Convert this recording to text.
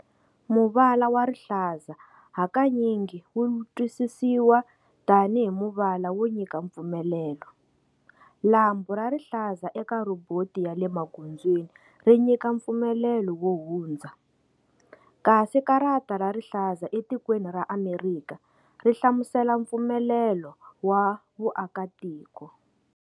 Muvala wa rihlaza hakanyingi wu twisisiwa tani hi muvala wo nyika mpfumelelo, lambhu ra rihlaza eka rhoboti yale magondzweni ri nyika mfpumelelo wo hundza, kasi karata ra rihlaza e tikweni ra Amerikha ri hlamusela mpfumelelo wa vuakatiko.